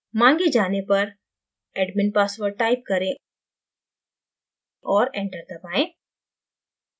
माँगे जाने पर admin password type करें और enter दबायें